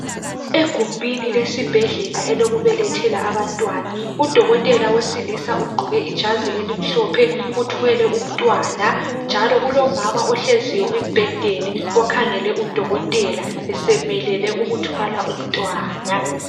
Egumeni lesibhedlela elokubelethela abantwana, udokotela wesilisa ugqoke ijazi elimhlophe uthwele umntwana njalo kulomama ohleziyo embhedeni okhangele udokotela esemelele ukuthwala umntwana.